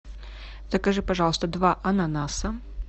закажи пожалуйста два ананаса